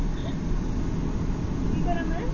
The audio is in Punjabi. ਕੀ ਕਰਾਂ ਮੈਂ?